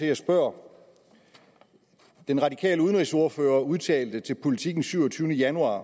jeg spørger den radikale udenrigsordfører udtalte til politiken den syvogtyvende januar